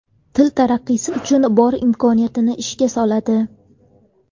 Til taraqqiysi uchun bor imkoniyatini ishga soladi.